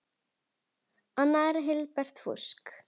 Annað er helbert fúsk.